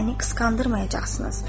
məni qısqandırmayacaqsınız.